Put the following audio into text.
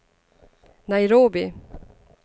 Nairobi